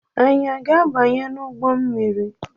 Anyi a ga-abanye n’ụgbọ mmiri?